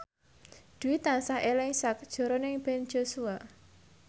Dwi tansah eling sakjroning Ben Joshua